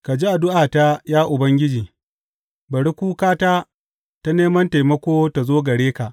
Ka ji addu’ata, ya Ubangiji; bari kukata ta neman taimako ta zo gare ka.